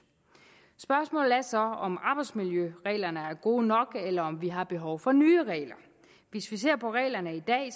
spørgsmålet er så om arbejdsmiljøreglerne er gode nok eller om vi har behov for nye regler hvis vi ser på reglerne i dag